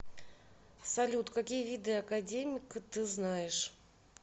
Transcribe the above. салют какие виды академик ты знаешь